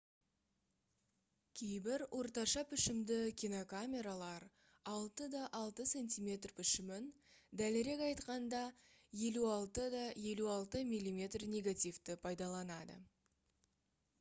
кейбір орташа пішімді кинокамералар 6 х 6 см пішімін дәлірек айтқанда 56 х 56 мм негативті пайдаланады